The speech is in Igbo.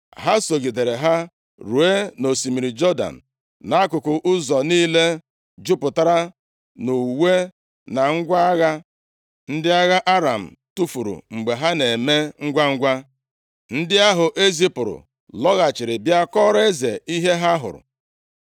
Ha sogidere ha ruo nʼosimiri Jọdan. Nʼakụkụ ụzọ niile jupụtara nʼuwe na ngwa agha ndị agha Aram tufuru mgbe ha na-eme ngwangwa. Ndị ahụ e zipụrụ lọghachiri bịa kọọrọ eze ihe ha hụrụ.